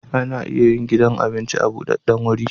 Ana iya yin gidan abinci a budaddan guri